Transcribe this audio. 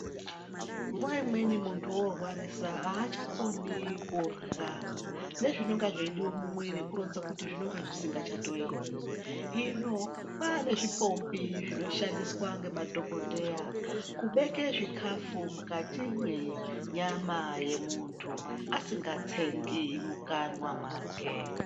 Nguwa imweni muntu orwarisa aachakoni kurwa nezvinonga zveidiwa mumwiri kuronza kuti zvinenge zvisingachatoiti. Hino kwane zvipombi zvinoshandiswa ngemadhokodheya kubeke zvikafu mukati menyama yemuntu asingatsengi mukanwa mwake.